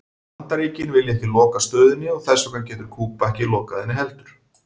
Bandaríkin vilja ekki loka stöðinni og þess vegna getur Kúba ekki lokað henni heldur.